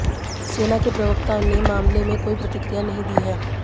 सेना के प्रवक्ता ने मामले में कोई प्रतिक्रिया नहीं दी है